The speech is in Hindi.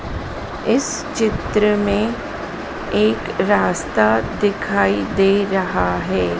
इस चित्र में एक रास्ता दिखाई दे रहा है।